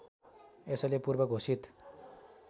यसैले पूर्व घोषित